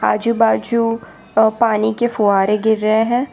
आजू बाजू अ पानी के फुहारे गिर रहे हैं।